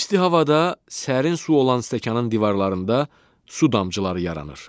İsti havada sərin su olan stəkanın divarlarında su damcıları yaranır.